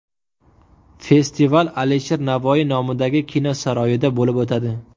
Festival Alisher Navoiy nomidagi Kino saroyida bo‘lib o‘tadi.